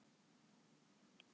Ég ætla að fá.